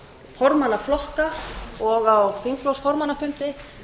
formanna flokka og á þingflokksformannafundi